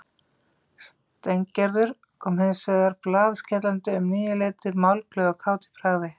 Steingerður kom hins vegar blaðskellandi um níuleytið, málglöð og kát í bragði.